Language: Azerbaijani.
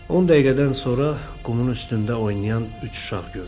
10 dəqiqədən sonra qumun üstündə oynayan üç uşaq gördüm.